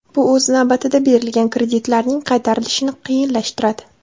Bu o‘z navbatida berilgan kreditlarning qaytarilishini qiyinlashtiradi.